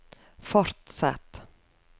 fortsett